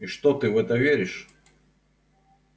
и что ты в это веришь